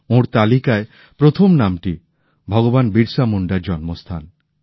ওঁর তালিকায় প্রথম নামটি ভগবান বিরসা মুন্ডার জন্মস্থান